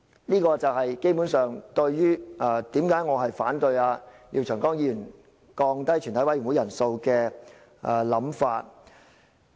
"這就是我為何反對廖長江議員降低全體委員會人數的想法。